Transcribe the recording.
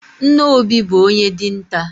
Nne Obi bụ onye dinta.